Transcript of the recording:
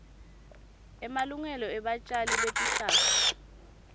emalungelo ebatjali betihlahla